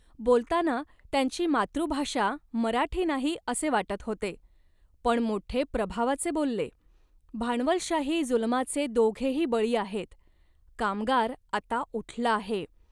बोलताना त्यांची मातृभाषा मराठी नाही असे वाटत होते, पण मोठे प्रभावाचे बोलले. भांडवलशाही जुलमाचे दोघेही बळी आहेत, कामगार आता उठला आहे